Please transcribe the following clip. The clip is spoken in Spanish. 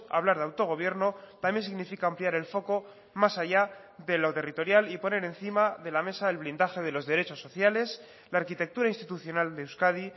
hablar de autogobierno también significa ampliar el foco más allá de lo territorial y poner encima de la mesa el blindaje de los derechos sociales la arquitectura institucional de euskadi